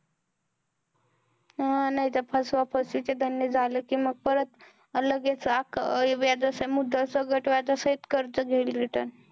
नाही तर फसवाफसवी चे धंदे झाले कि मग परत लगेच व्याज मुद्दल सकट व्याज सहित सकट return